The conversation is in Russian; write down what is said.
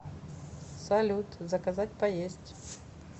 салют заказать поесть